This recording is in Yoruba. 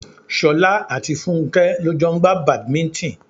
Ṣolá àti Fúnké lọ jọ ń gba Badminton.